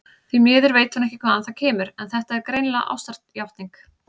Því miður veit hún ekki hvaðan það kemur, en þetta er greinilega ástarjátning.